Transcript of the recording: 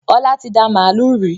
Ọlá tí dá màálù rí.